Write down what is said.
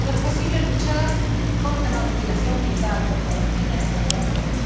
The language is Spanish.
No es posible luchar contra la mutilación genital, contra los crímenes de honor,